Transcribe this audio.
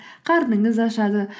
қарныңыз ашады